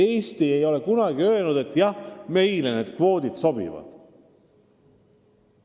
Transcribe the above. Eesti ei ole kunagi öelnud, et meile kvoodid sobivad.